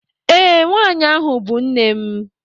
Ee, nwaanyị ahụ bụ nne m